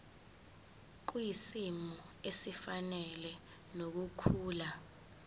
kwisimo esifanele nokukhula